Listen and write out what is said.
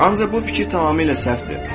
Ancaq bu fikir tamamilə səhvdir.